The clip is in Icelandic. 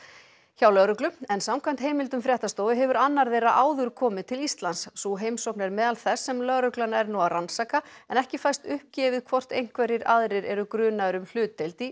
hjá lögreglu en samkvæmt heimildum fréttastofu hefur annar þeirra áður komið til Íslands sú heimsókn er meðal þess sem lögreglan er nú að rannsaka en ekki fæst uppgefið hvort einhverjir aðrir eru grunaðir um hlutdeild í